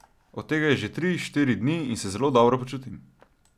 Od tega je že tri, štiri dni in se zelo dobro počutim.